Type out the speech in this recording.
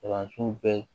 Kalanso bɛɛ